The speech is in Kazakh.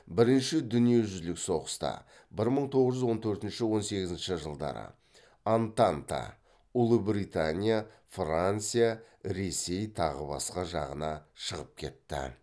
бірінші дүниежүзілік соғыста антанта жағына шығып кетті